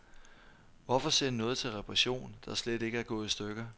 Hvorfor sende noget til reparation, der slet ikke er gået i stykker.